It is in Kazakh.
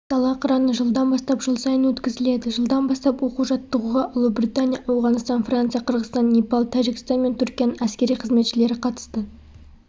дала қыраны жылдан бастап жыл сайын өткізіледі жылдан бастап оқу-жаттығуға ұлыбритания ауғанстан франция қырғызстан непал тәжікстан мен түркияның әскери қызметшілері қатысты